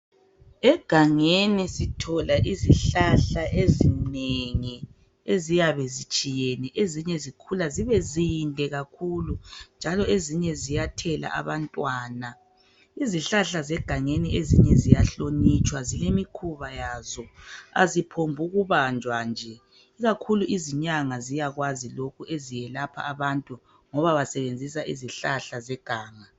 Egangeni sithola izihlahla ezinengi eziyabe zitshiyene. Ezinye zikhula zibe zinde kakhulu njalo ezinye ziyathela abantwana. Izihlahla zegangeni ezinye ziyahlonitshwa zilemikhuba yazo. Aziphombi ukubanjwa nje ikakhulu izinyanga ziyakwazi lokhu eziyelapha abantu ngoba basebenzisa izihlahla zeganga.